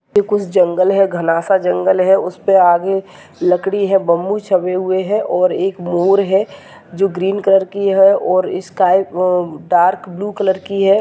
कुछ जंगल है घना सा जंगल है उसपे आगे लकड़ी है बम्बू छपे हुए है ओर एक मोर है जो ग्रीन कलर की है ओर sky uh- dark blue colour की है।